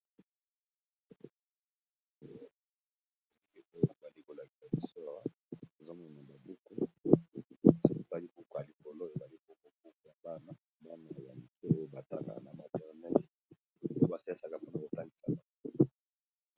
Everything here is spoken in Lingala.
Awa bazolakisa biso buku, yakotangisa bana ,buku ya go eza na Langi ya motani, langi ya mosaka ,langi yabozinga pe na Langi ya lilala.